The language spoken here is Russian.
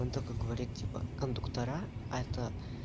он такой говорит типа кондуктора это